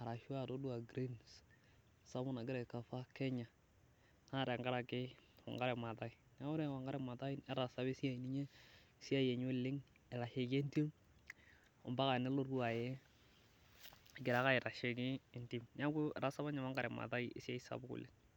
arashua toodua grins kumok naigira aicova Kenya naa tenkaraki Wangari Mathai. Neeku ore apa ninye Wangari Mathai neetasa apaa esiai enye oleng' aitasheki entim ompaka nelotu ae egira ake aitasheki entim. Neeku eatasa apa ninye Wangari Mathai esiai sapuk oleng'.